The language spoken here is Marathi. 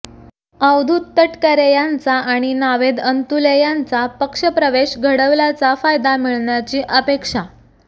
अवधूत तटकरे यांचा आणि नावेद अंतुले यांचा पक्षप्रवेश घडवल्याचा फायदा मिळण्याची अपेक्षा